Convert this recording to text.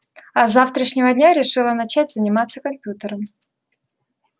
а с завтрашнего дня решила начать заниматься компьютером